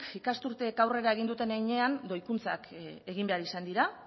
ikasturteek aurrera egin duten heinean doikuntzak egin behar izan dira